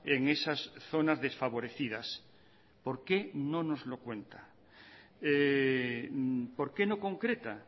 en esas zonas desfavorecidas por qué no nos lo cuenta por qué no concreta